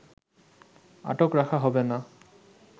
আটক রাখা হবে না